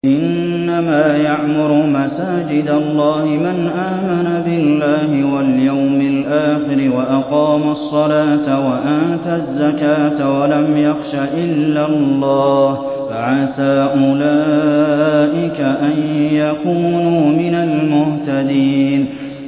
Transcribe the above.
إِنَّمَا يَعْمُرُ مَسَاجِدَ اللَّهِ مَنْ آمَنَ بِاللَّهِ وَالْيَوْمِ الْآخِرِ وَأَقَامَ الصَّلَاةَ وَآتَى الزَّكَاةَ وَلَمْ يَخْشَ إِلَّا اللَّهَ ۖ فَعَسَىٰ أُولَٰئِكَ أَن يَكُونُوا مِنَ الْمُهْتَدِينَ